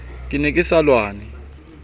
ke ne ke sa lwane